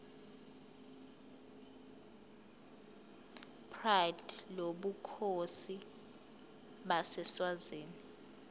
pride lobukhosi baseswazini